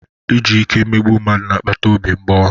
Iji ike emegbu mmadụ na-akpata obi mgbawa.